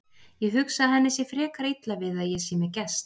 Ég hugsa að henni sé frekar illa við að ég sé með gest.